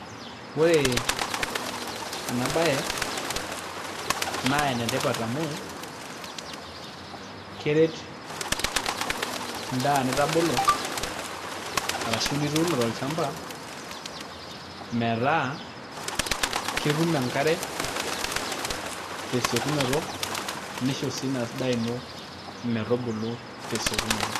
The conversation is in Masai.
Ore enabaye naa enetipat amu keret endaa nitabolo ashu nituuno nitum enkare tesiokinoto metubulu tesiokinoto.